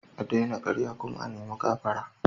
A daina karya kuma a nima gafara.